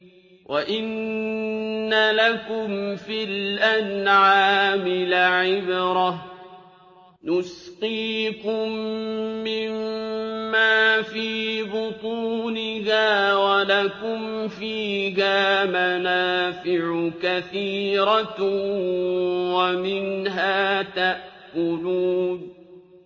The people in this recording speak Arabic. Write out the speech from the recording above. وَإِنَّ لَكُمْ فِي الْأَنْعَامِ لَعِبْرَةً ۖ نُّسْقِيكُم مِّمَّا فِي بُطُونِهَا وَلَكُمْ فِيهَا مَنَافِعُ كَثِيرَةٌ وَمِنْهَا تَأْكُلُونَ